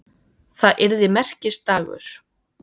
Það yrði merkisdagur.